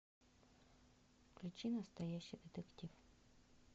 включи настоящий детектив